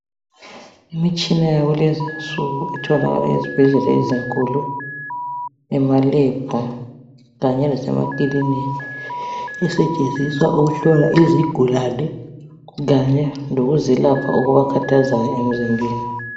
Imitshina yakulezinsuku itholakala ezibhedlela ezinkulu ema lebhu kanye lasemakilinika isetshenziswa ukuhlola izigulane kanye lokubelapha okubakhathazayo emzimbeni.